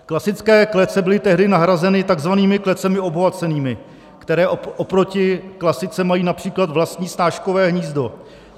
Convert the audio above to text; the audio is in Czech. Klasické klece byly tehdy nahrazeny takzvanými klecemi obohacenými, které oproti klasice mají například vlastní snáškové hnízdo.